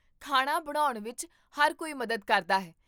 ਖਾਣਾ ਬਣਾਉਣ ਵਿਚ ਹਰ ਕੋਈ ਮਦਦ ਕਰਦਾ ਹੈ